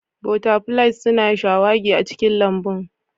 Butterflies suna shawagi a cikin lambun